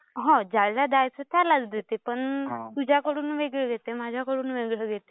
हो. ज्याला द्यायचं त्यालाच देते पण तुझ्याकडून वेगळे घेते, माझ्याकडून वेगळं घेते.